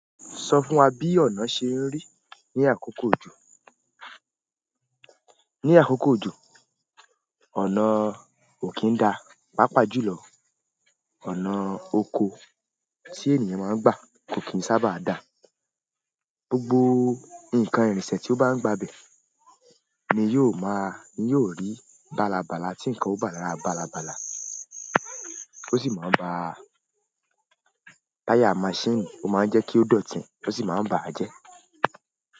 Sọ fún wa bí ọ̀nà ṣe ń rí ní àkókò ojo. Ní àkókò òjò, ọ̀nà ò kí ń da, pàápàá jùlọ ọ̀nà oko tí ènìyàn máa ń gbà kò kí ń sábà da. Gbogbo nǹkan, irinṣẹ́ tí ó bá ń gba ibẹ̀ ni yóò máa, ni yóò rí balabala tí nǹkan ó bá la balabala. Ó sì máa ń ba táyà maṣíìnì ó máa ń jẹ́ kí ó dọ̀tí, ó sì máa ń bà á jẹ́.